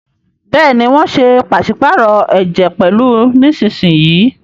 Béèni wón ṣe paṣipaarọ ẹjẹ pẹlu nísìsiyìí.